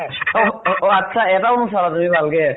অ অ আত্ছা এটাও চালা তুমি ভালকে?